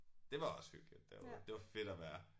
Det var også hyggeligt derude det var fedt at være